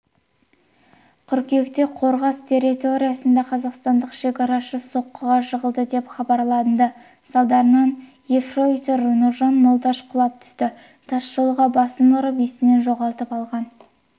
қыркүйекте қорғас территориясында қазақстандық шекарашы соққыға жығылды деп хабарланды салдарынан ефрейтор нұржан молдаш құлап түсіп тасжолға басын ұрып есін жоғалтып алған